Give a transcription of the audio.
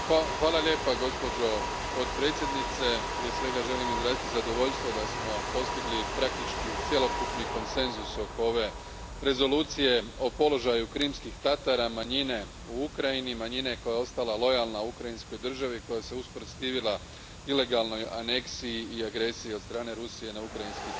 Gospođo potpredsjednice, prije svega želim izraziti zadovoljstvo da smo postigli cjelokupni konsenzus oko ove rezolucije o položaju Krimskih Tatara, manjine u Ukrajini, manjine koja je ostala lojalna ukrajinskoj državi, koja se usprotivila ilegalnoj aneksiji i agresiji od strane Rusije na ukrajinski teritorij.